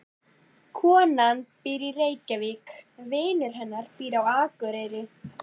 Konan býr í Reykjavík. Vinur hennar býr á Akureyri.